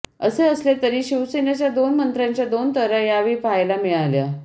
असे असले तरी शिवसेनेच्या दोन मंत्र्यांच्या दोन तऱ्हा यावेळी पाहायला मिळाल्या